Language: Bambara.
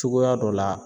Cogoya dɔ la